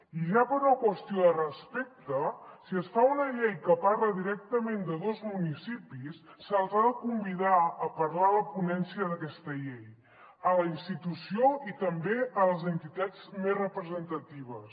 i ja per una qüestió de respecte si es fa una llei que parla directament de dos municipis se’ls ha de convidar a parlar a la ponència d’aquesta llei a la institució i també a les entitats més representatives